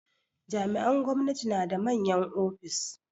Jami'an gwamnati na da manyan ofis.